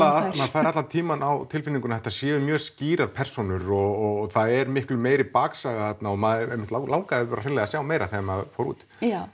fær allan tímann á tilfinninguna að þetta séu mjög skýrar persónur og það er miklu meiri baksaga þarna og mann einmitt langaði bara að sjá meira þegar maður fór út